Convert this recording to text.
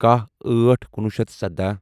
کَہہ أٹھ کنُوہُ شیتھ سدَہ